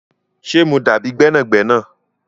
Ṣé mo dábi gbẹnàgbẹ̀nà?